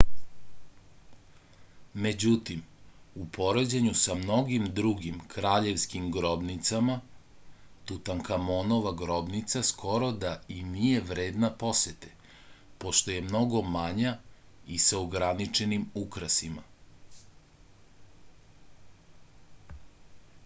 međutim u poređenju sa mnogim drugim kraljevskim grobnicama tutankamonova grobnica skoro da i nije vredna posete pošto je mnogo manja i sa ograničenim ukrasima